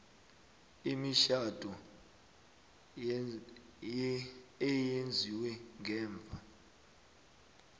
imitjhado eyenziwe ngemva